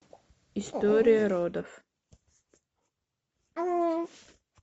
история родов